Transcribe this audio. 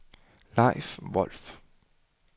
Leif Wolff